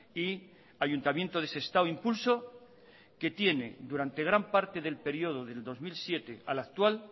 y ayuntamiento de sestao impulso que tiene durante gran parte del período del dos mil siete al actual